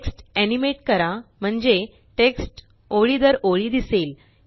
text animate करा म्हणजे text ओळी दर ओळी दिसेल